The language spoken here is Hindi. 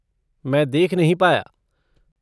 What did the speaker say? मैं देख नहीं पाया।